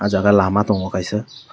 aah jaga lama tongo kaisa.